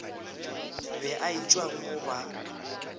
be a etšwa mo ba